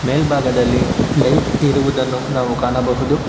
ಮೇಲ್ಭಾಗದಲ್ಲಿ ಲೈಟ್ ಇರುವುದನ್ನು ನಾವು ಕಾಣಬಹುದು.